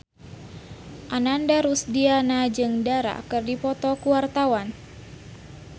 Ananda Rusdiana jeung Dara keur dipoto ku wartawan